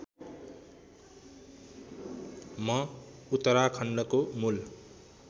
म उत्तराखण्डको मूल